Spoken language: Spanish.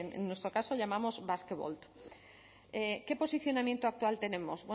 en nuestro caso llamamos basquevolt qué posicionamiento actual tenemos